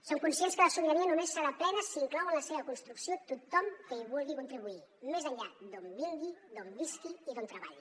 som conscients que la sobirania només serà plena si inclou en la seva construcció tothom que hi vulgui contribuir més enllà d’on vingui d’on visqui i d’on treballi